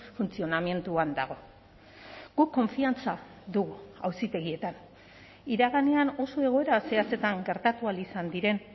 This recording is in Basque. funtzionamenduan dago guk konfiantza dugu auzitegietan iraganean oso egoera zehatzetan gertatu ahal izan diren